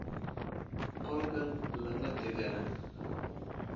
Qolkan lama degana